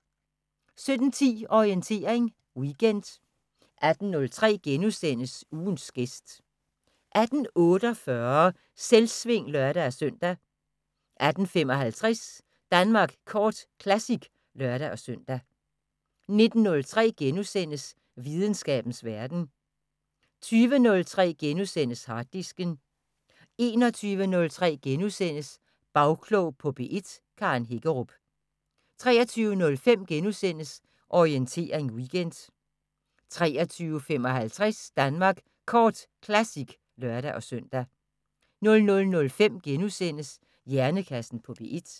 17:10: Orientering Weekend 18:03: Ugens gæst * 18:48: Selvsving (lør-søn) 18:55: Danmark Kort Classic (lør-søn) 19:03: Videnskabens Verden * 20:03: Harddisken * 21:03: Bagklog på P1: Karen Hækkerup * 23:05: Orientering Weekend * 23:55: Danmark Kort Classic (lør-søn) 00:05: Hjernekassen på P1 *